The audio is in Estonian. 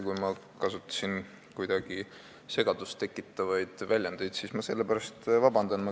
Kui ma kasutasin segadust tekitavaid väljendeid, siis ma palun selle pärast vabandust.